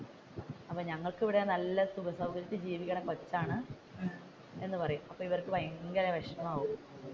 അപ്പൊ ഞങ്ങൾക്ക് ഇവിടെ നല്ല സുഖ സൗകര്യത്തിൽ ജീവിക്കുന്ന കൊച്ചാണ് എന്ന് പറയും, അപ്പൊ ഇവർക്ക് ഭയങ്കര വിഷമം ആവും.